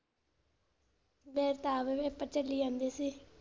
ਮੇਰੇ ਤਾਂ ਵੀ ਪੇਪਰ ਚਲੀ ਜਾਂਦੇ ਸੀ।